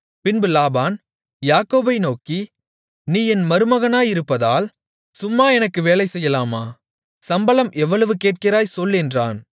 பின்பு லாபான் யாக்கோபை நோக்கி நீ என் மருமகனாயிருப்பதால் சும்மா எனக்கு வேலைசெய்யலாமா சம்பளம் எவ்வளவு கேட்கிறாய் சொல் என்றான்